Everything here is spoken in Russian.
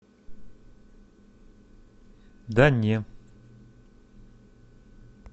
да не